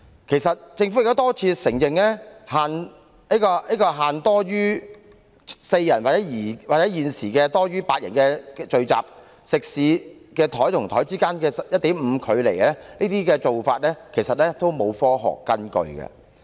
其實，政府已多次承認，之前作出限制，禁止多於4人或現時8人的聚集，以及食肆每張桌子之間要有 1.5 米距離的做法，其實完全沒有科學根據。